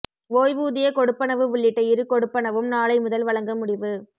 ஓய்வூதிய கொடுப்பனவு உள்ளிட்ட இரு கொடுப்பனவும் நாளை முதல் வழங்க முடிவு